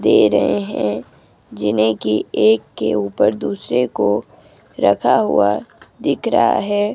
दे रहे हैं जिन्हे की एक के ऊपर दूसरे को रखा हुआ दिख रहा है।